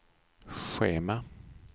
schema